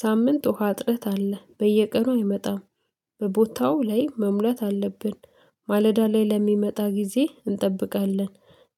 ሳምንት ውሃ አጥረት አለ፣ በየቀኑ አይመጣም በቦታው ላይ መሙላት አለብን፣ ማለዳ ላይ ለሚመጣ ጊዜ እንጠብቃለን፣